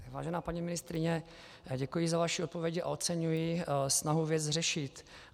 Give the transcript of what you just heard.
Vážená paní ministryně, děkuji za vaši odpověď a oceňuji snahu věc řešit.